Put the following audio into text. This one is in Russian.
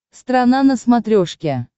страна на смотрешке